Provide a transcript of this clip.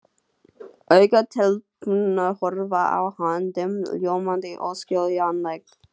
Augu telpunnar horfa á hann, dimm, ljómandi, óskiljanleg.